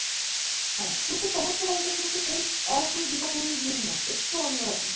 হ্যাঁ কিন্তু সমুদ্র বলতে সেই একই দীঘা পুরীর ভিড় নয় একটু অন্যরকম